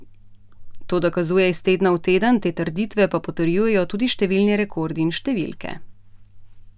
To dokazuje iz tedna v teden, te trditve pa potrjujejo tudi številni rekordi in številke.